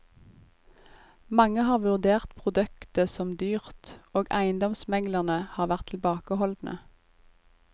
Mange har vurdert produktet som dyrt, og eiendomsmeglerne har vært tilbakeholdne.